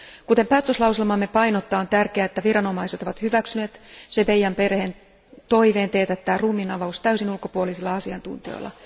Kuten päätöslauselmamme painottaa, on tärkeää, että viranomaiset ovat hyväksyneet Chebeya Bahiziren perheen toiveen teetättää ruumiinavaus täysin ulkopuolisilla asiantuntijoilla.